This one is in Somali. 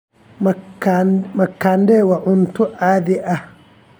Makande waa cunto caadi ah.